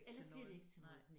Ellers bliver det ikke til noget